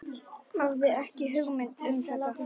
Hafði ekki hugmynd um þetta.